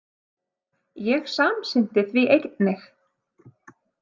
Ég samsinnti því einnig.